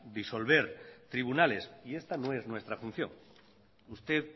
disolver tribunales y esta no es nuestra función usted